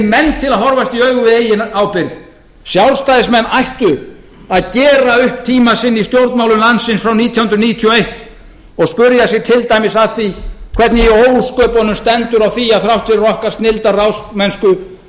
menn til að horfast í augu við eigin ábyrgð sjálfstæðismenn ættu að gera upp tíma sinn í stjórnmálum landsins frá nítján hundruð níutíu og eins og spyrja sig til dæmis að því hvernig í ósköpunum stendur á því að þrátt fyrir okkar snilldarráðsmennsku